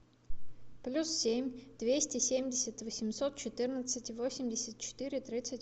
плюс семь двести семьдесят восемьсот четырнадцать восемьдесят четыре тридцать